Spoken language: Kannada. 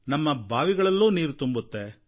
ನಮ್ಮ ಬಾವಿಗಳಲ್ಲೂ ನೀರು ತುಂಬುತ್ತೆ